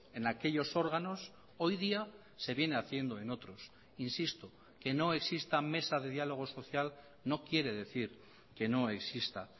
en aquellos órganos hoy día se viene haciendo en otros insisto que no exista mesa de diálogo social no quiere decir que no exista